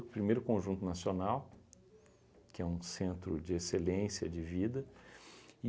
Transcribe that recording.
O primeiro, Conjunto Nacional, que é um centro de excelência de vida.